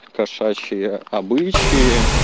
кошачьи обычаи